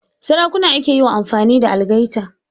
Sarakuna ake yi wa amfani da algaita